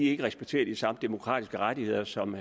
ikke respekterer de samme demokratiske rettigheder som